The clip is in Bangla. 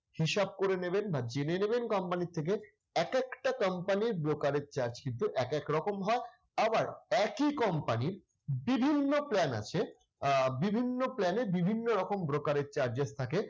হিসাব করে নেবেন বা জেনে নেবেন company র থেকে। একেকটা company র broker charge কিন্তু একেক রকম হয়। আবার একই company র বিভিন্ন plan আছে আহ বিভিন্ন plan এর বিভিন্ন রকম brokerage charges থাকে।